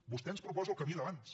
vostè ens proposa el camí d’abans